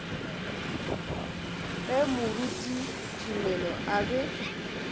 ge moruti tumelo a be